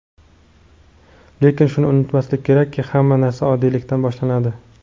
Lekin shuni unutmaslik kerakki, hamma narsa oddiylikdan boshlanadi.